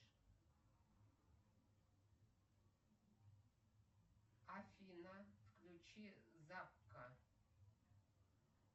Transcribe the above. афина включи закка